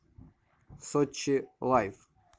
сочи лайф